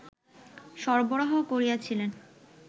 সরবরাহ করিয়াছিলেন